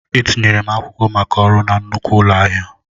Etinyere m akwụkwọ maka ọrụ na nnukwu ụlọ ahịa.